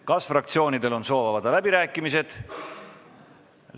Kas fraktsioonidel on soov avada läbirääkimised?